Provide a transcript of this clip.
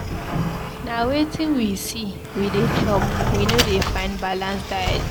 Na wetin we see we dey chop, we no dey find balanced diet.